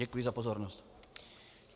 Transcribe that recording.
Děkuji za pozornost.